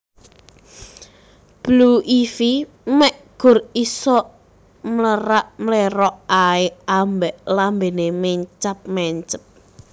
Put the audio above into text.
Blue Ivy mek gur isok mlerak mlerok ae ambek lambene mencap mencep